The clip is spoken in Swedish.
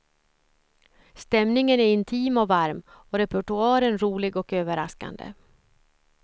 Stämningen är intim och varm, och repertoaren rolig och överraskande.